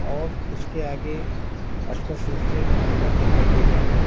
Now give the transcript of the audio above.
और उसके आगे स्पष्ट रूप से होल्डर दिखाई दे रहा है।